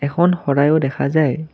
এখন শৰাইও দেখা যায়।